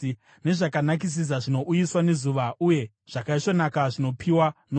nezvakanakisisa zvinouyiswa nezuva uye zvakaisvonaka zvinopiwa nomwedzi;